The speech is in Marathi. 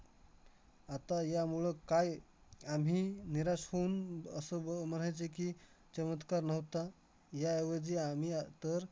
आत्ता यामुळं काय आम्ही निराश होऊन असंव म्हणायचं की, चमत्कार नव्हता. याऐवजी आम्ही आह तर